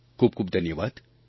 ખૂબખૂબ ધન્યવાદ